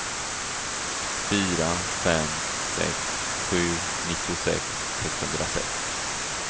fyra fem sex sju nittiosex sexhundrasex